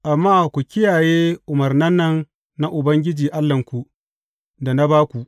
Amma ku kiyaye umarnan nan na Ubangiji Allahnku, da na ba ku.